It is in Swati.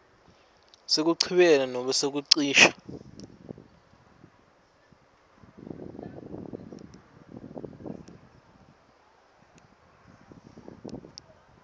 sekuchibiyela nobe kucisha